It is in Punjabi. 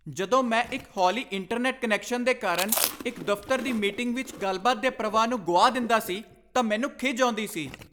ਜਦੋਂ ਮੈਂ ਇੱਕ ਹੌਲੀ ਇੰਟਰਨੈਟ ਕਨੈਕਸ਼ਨ ਦੇ ਕਾਰਨ ਇੱਕ ਦਫ਼ਤਰ ਦੀ ਮੀਟਿੰਗ ਵਿੱਚ ਗੱਲਬਾਤ ਦੇ ਪ੍ਰਵਾਹ ਨੂੰ ਗੁਆ ਦਿੰਦਾ ਸੀ ਤਾਂ ਮੈਨੂੰ ਖਿਝ ਆਉਂਦੀ ਸੀ।